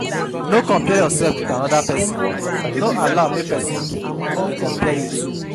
No compare yourself with another persin no allow make persin de compare you too